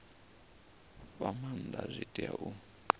fha maanda zwi tea u